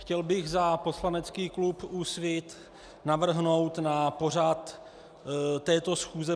Chtěl bych za poslanecký klub Úsvit navrhnout na pořad této schůze